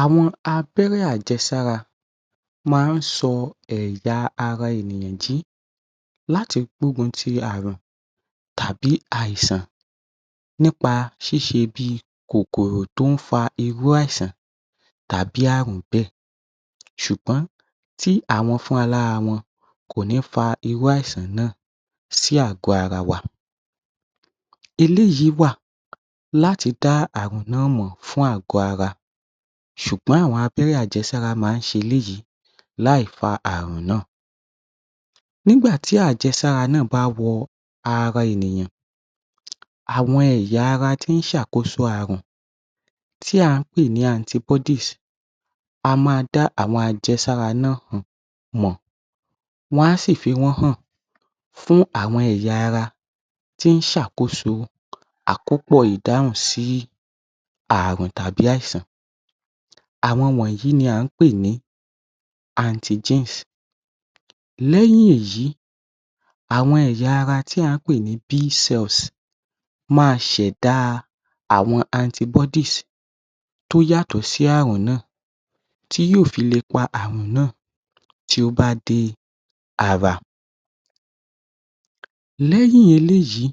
‎Awọn abẹ́rẹ́ àjẹsára Màá ń sọ àwọn ẹ̀yà ara ènìyàn jí láti gbógun ti Ààrùn tàbí àìsàn nípa ṣíṣe bi kòkòrò tó ń fa irú àìsàn tàbí Ààrùn bẹ́ẹ̀ ṣùgbọ́n tí àwọn fúnra lára wọn kò ní fa irú àìsàn náà sí àgọ́ ara wa eléyìí wà láti dá Ààrùn náà mọ̀ fún ààgọ́ ara sùgbọ́n àwọn abẹ́rẹ́ àjẹsára máa ń ṣe eléyìí láìfa Ààrùn náà nígbà tí àjẹsára náà bá wọ ara ènìyàn, àwọn ẹ̀yà ara tí ń ṣe àkóso Ààrùn tí à ń pè ní anti bodies, a máa dá àwọn àjẹsára náà mọ̀, wọ́n á sì fi wọ́n hàn fún àwọn ẹ̀yà ara tí ó ń ṣàkóso àkọ́pọ̀ ìdáhùn sí ààrùn tàbí àìsàn, àwọn wọ̀nyí ni antigens lẹ́yìn èyí àwọn ẹ̀yà ara tí à ń pè ní B cells máa sẹ̀dá àwọn anti bodies tí ó yàtọ̀ sí Ààrùn náà tí yóò fi le pa Ààrùn náà tí ó bá dé ara lẹ́yìn eléyìí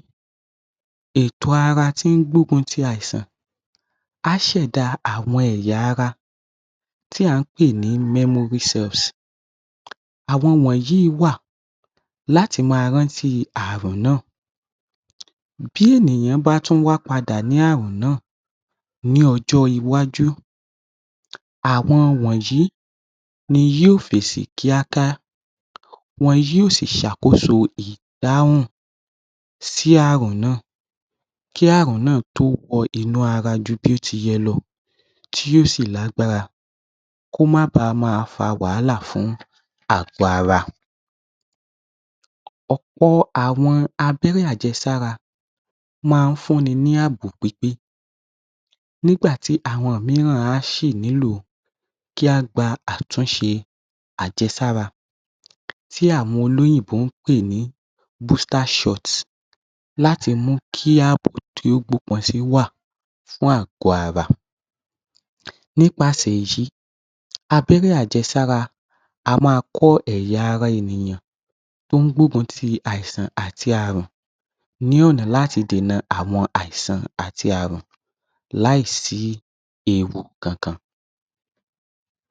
ìtọ̀ ara tí ó ń gbógun ti àìsàn á sẹ̀dá àwọn ẹ̀ẹ̀yà ara tí à ń pè ní Memory cells àwọn wọ̀nyi wà láti máa rántí Ààrùn náà bí ènìyàn bá tún wá padà ní àárùn náà ní ọjọ́ iwájú, àwọn wọ̀nyí ni yóò fèsì kíákíá wọn yóò sì ṣe àkóso ìdáhùn sí Ààrùn náà kí Ààrùn náà tó wọ inú ara ju bí ó ṣe yẹ lọ kí ó sì lágbára kí ó má baà máa fa wàhálà fún ààgọ́ ara Ọ̀pọ̀ àwọn Lábẹ́rẹ́ àjẹsára máa ń fún ni ní ààbò pípé nígbà tí àwọn mìíràn á sì nílò kí á gba àtúnṣe àjẹsára tí àwọn olóyìnbó ń pè ní Booster Shot, láti mú kí wà fún ààgọ́ ara ‎ nípasẹ̀ èyí abẹ́rẹ́ àjẹsára máa ń kọ́ ẹ̀yà ara ènìyàn ‎ tí ó ń gbógun ti àìsàn àti ààrùn lọ́nà láti dènà àìsàn àti ààrùn láì sí ewu kankan